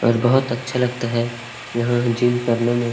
और बहुत अच्छा लगता है यहाँ जिम करने में।